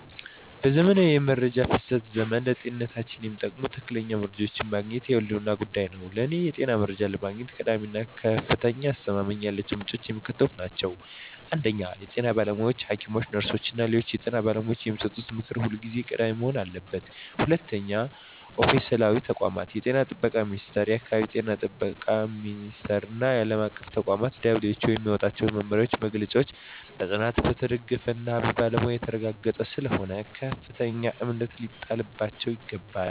በዘመናዊው የመረጃ ፍሰት ዘመን፣ ለጤንነታችን የሚጠቅሙ ትክክለኛ መረጃዎችን ማግኘት የህልውና ጉዳይ ሆኗል። ለእኔ የጤና መረጃ ለማግኘት ቀዳሚ እና ከፍተኛ አስተማማኝነት ያላቸው ምንጮች የሚከተሉት ናቸው 1) የጤና ባለሙያዎች: ሐኪሞች፣ ነርሶች እና ሌሎች የጤና ባለሙያዎች የሚሰጡት ምክር ሁልጊዜም ቀዳሚ መሆን አለበት። 2)ኦፊሴላዊ ተቋማት: እንደ የጤና ጥበቃ ሚኒስቴር፣ የአካባቢ ጤና ቢሮዎች እና ዓለም አቀፍ ተቋማት (እንደ WHO) የሚያወጧቸው መመሪያዎችና መግለጫዎች በጥናት የተደገፉና በባለሙያዎች የተረጋገጡ ስለሆኑ ከፍተኛ እምነት ሊጣልባቸው ይገባል።